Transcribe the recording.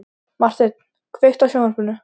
Marteinn, kveiktu á sjónvarpinu.